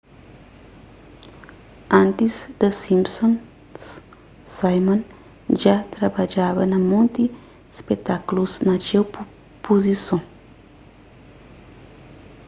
antis the simpsons simon dja trabadjaba na monti spetákulus na txeu puzison